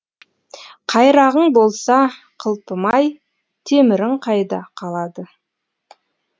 қайрағың болса қылпымай темірің қайда қалады